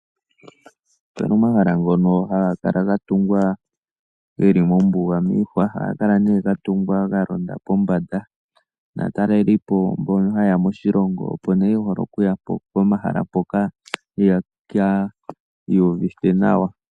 Opena omahala ngono haga kala ga tungwa geli mombuga miihwa. Ohaga kala nee ga tungwa ga londa pombanda. Naatalelipo mbono haye ya moshilongo opo nee hole okuya pomahala mpoka yeki iuvithe nawa.